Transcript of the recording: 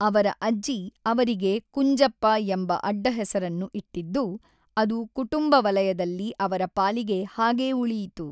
ಅವರ ಅಜ್ಜಿ ಅವರಿಗೆ ಕುಂಜಪ್ಪ ಎಂಬ ಅಡ್ಡಹೆಸರನ್ನು ಇಟ್ಟಿದ್ದು, ಅದು ಕುಟುಂಬ ವಲಯದಲ್ಲಿ ಅವರ ಪಾಲಿಗೆ ಹಾಗೇ ಉಳಿಯಿತು.